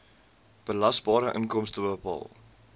belasbare inkomste bepaal